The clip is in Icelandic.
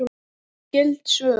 Skyld svör